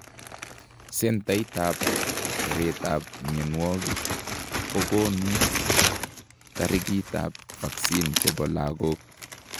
Centait ab teret ab mionwogik kokonuu tarikit ab vaccines chebo lagok